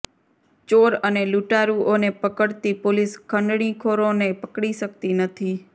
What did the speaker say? ચોર અને લૂંટારુંઓને પકડતી પોલીસ ખંડણીખોરોને પકડી શકતી નથી